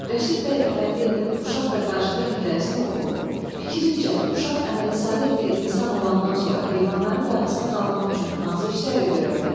Rəşid bəy Əfəndiyevin uşaq və qarışqa hekayəsini oxu, fikrincə, uşaq əməli-saleh bir insan olandan sonra heyvanların qayğısına qalmaq üçün hansı işləri görə bilər?